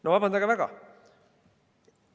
No vabandage väga!